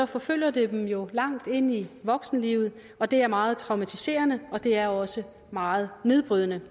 forfølger det dem jo langt ind i voksenlivet og det er meget traumatiserende og det er også meget nedbrydende